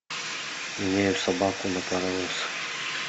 меняю собаку на паровоз